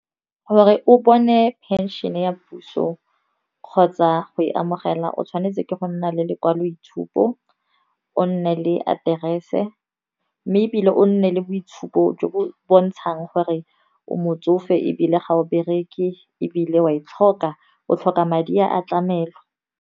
Gore o bone phenšhene ya puso kgotsa go e amogela, o tshwanetse ke go nna le lekwaloitshupo. O nne le aterese mme ebile o nne le boitshupo jo bo bontshang gore o motsofe, ebile ga o bereke ebile wa e tlhoka, o tlhoka madi a tlamelo.